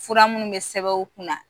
Fura minnu be sɛbɛn u kunna